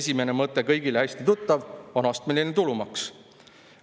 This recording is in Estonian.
Esimene mõte, kõigile hästi tuttav, on astmeline tulumaks.